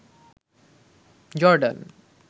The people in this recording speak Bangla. জর্ডান